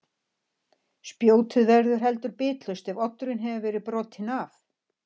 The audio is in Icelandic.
Spjótið verður heldur bitlaust ef oddurinn hefur verið brotinn af.